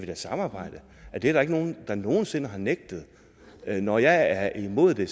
da samarbejde det er der ikke nogen der nogen sinde har benægtet når jeg er imod det